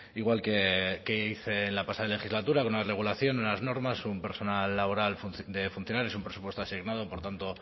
igual que hice en la pasada legislatura con una regulación unas normas un personal laboral de funcionarios un presupuesto asignado por tanto